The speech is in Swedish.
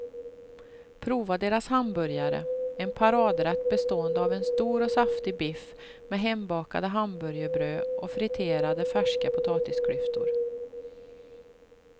Prova deras hamburgare, en paradrätt bestående av en stor och saftig biff med hembakade hamburgerbröd och friterade färska potatisklyftor.